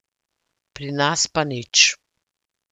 Pri nas pa nič.